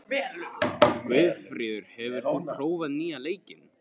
Guðfríður, hefur þú prófað nýja leikinn?